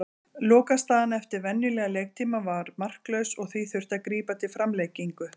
Lokastaðan eftir venjulegan leiktíma var marklaus og því þurfti að grípa til framlengingu.